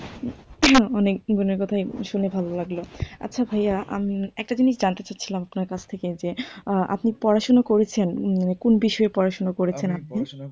অনেক গুলো কথাই শুনে ভালো লাগলো। আচ্ছা ভাইয়া উম একটা জিনিস জানতে চাচ্ছিলাম আপনার কাছ থেকে যে আপনি পড়াশুনা করেছেন উম কোন বিষয়ে পড়াশুনা করেছেন আপনি?